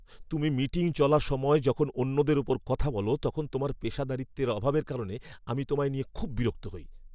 তুমি মিটিং চলার সময় যখন অন্যদের ওপর কথা বল, তখন তোমার পেশাদারিত্বের অভাবের কারণে আমি তোমায় নিয়ে খুব বিরক্ত হই।